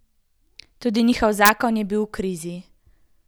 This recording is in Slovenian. Tudi njegov zakon je bil v krizi.